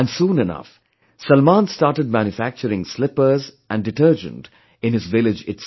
And soon enough, Salman started manufacturing slippers and detergent in his village itself